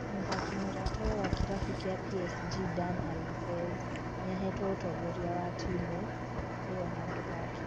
Mũthaki mũratawe wa kĩrabu kĩa PSG Dani Alvez nĩahetwo ũtongoria wa timũ ĩyo handũ hake.